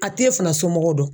A t'e fana somɔgɔw dɔn